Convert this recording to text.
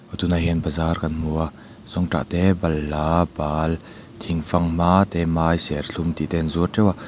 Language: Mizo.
aw tunah hian bazar kan hmu a zawngtah te balhla bal thing fanghma te mai serthlum tih te an zuar teuh a.